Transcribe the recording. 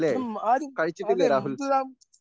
ഇതും ആരും അതെ